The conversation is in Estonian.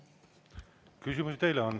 Küsimusi teile on.